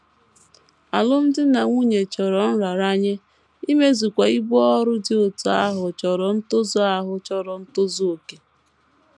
Alụmdi na nwunye chọrọ nraranye, imezukwa ibu ọrụ dị otú ahụ chọrọ ntozu ahụ chọrọ ntozu okè.